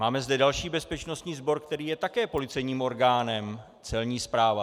Máme zde další bezpečnostní sbor, který je také policejním orgánem - Celní správa.